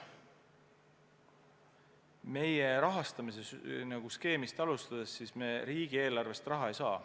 Kui alustada meie rahastamise skeemist, siis meie riigieelarvest raha ei saa.